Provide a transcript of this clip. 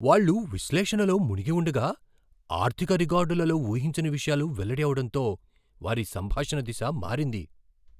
వాళ్ళు విశ్లేషణలో మునిగి ఉండగా, ఆర్థిక రికార్డులలో ఊహించని విషయాలు వెల్లడి అవడంతో వారి సంభాషణ దిశ మారింది.